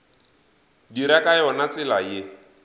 dira ka yona tsela ye